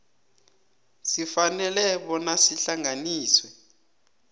sifanele bona sihlanganiswe